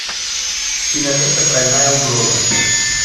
кинолента тройная угроза